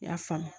I y'a faamu